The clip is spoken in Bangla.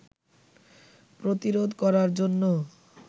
প্রতিরোধ করার জন্য